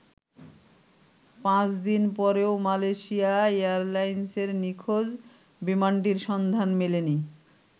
পাঁচদিন পরেও মালয়েশিয়া এয়ারলাইন্সের নিখোঁজ বিমানটির সন্ধান মেলেনি।